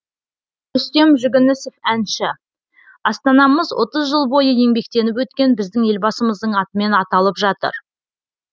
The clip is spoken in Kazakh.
рүстем жүгінісов әнші астанамыз отыз жыл бойы еңбектеніп өткен біздің елбасымыздың атымен аталып жатыр